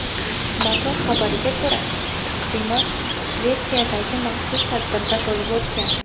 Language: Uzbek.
Motor xabariga ko‘ra , taqdimot Shvetsiyadagi maxsus tadbirda bo‘lib o‘tgan.